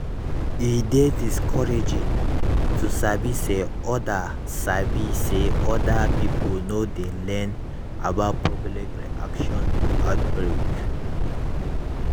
e dey discouraging to sabi say other sabi say other pipo no dey learn about public reaction to outbreak